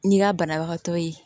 N'i ka banabagatɔ ye